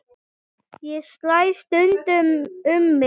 Ég slæ stundum um mig.